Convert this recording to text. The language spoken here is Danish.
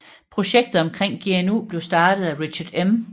Projektet omkring GNU blev startet af Richard M